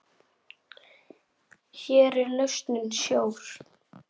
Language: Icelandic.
Hér er lausnin sjór.